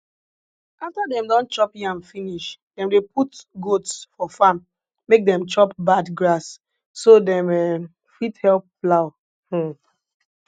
after dem don chop yam finish dem dey put goats for farm make dem chop bad grass so dem um fit help plow um